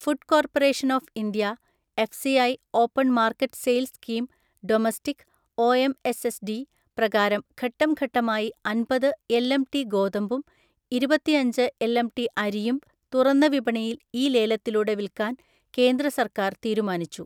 Food corporation of India F C I open market sale scheme domestic (O M S S D) പ്രകാരം ഘട്ടം ഘട്ടമായി അന്‍പത് LMT ഗോതമ്പും ഇരുപത്തിഅഞ്ച് എൽഎംടി അരിയും തുറന്ന വിപണിയിൽ ഇ ലേലത്തിലൂടെ വിൽക്കാൻ കേന്ദ്ര സർക്കാർ തീരുമാനിച്ചു.